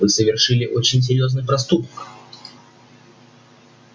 вы совершили очень серьёзный проступок